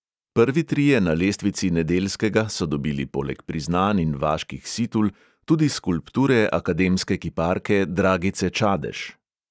Prvi trije na lestvici nedeljskega so dobili poleg priznanj in vaških situl tudi skulpture akademske kiparke dragice čadež.